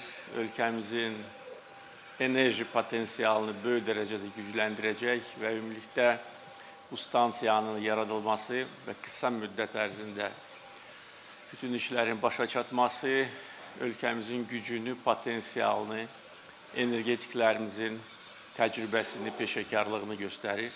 Ölkəmizin enerji potensialını böyük dərəcədə gücləndirəcək və ümumilikdə bu stansiyanın yaradılması və qısa müddət ərzində bütün işlərin başa çatması ölkəmizin gücünü, potensialını, energetiklərimizin təcrübəsini, peşəkarlığını göstərir.